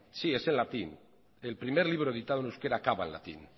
latín el primer libro editado en euskera acaba en latín